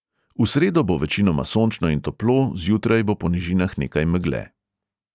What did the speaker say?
V sredo bo večinoma sončno in toplo, zjutraj bo po nižinah nekaj megle.